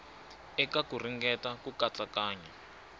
eka ku ringeta ku katsakanya